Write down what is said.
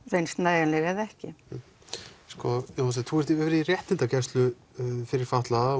reynst nægjanleg eða ekki Jón Þorsteinn þú hefur verið í réttindagæslu fyrir fatlaða